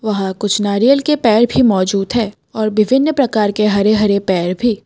वहां कुछ नारियल के पेड़ भी मौजूद है और विभिन्न प्रकार के हरे हरे पेड़ भी।